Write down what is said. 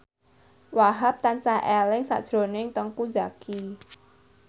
Wahhab tansah eling sakjroning Teuku Zacky